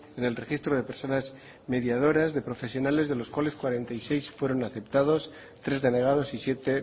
en el registro de personas mediadoras de profesionales de los cuales cuarenta y seis fueron aceptados tres denegados y siete